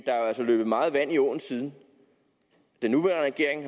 altså løbet meget vand i åen siden den nuværende regering